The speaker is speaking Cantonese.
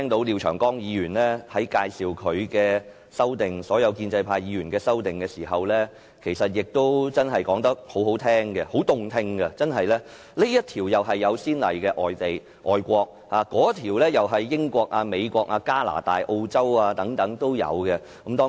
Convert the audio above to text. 廖長江議員在介紹自己及其他建制派議員提出的修訂建議時說得很動聽，不是這項在外國有先例，便是那項在英國、美國、加拿大和澳洲等地已有相關條文。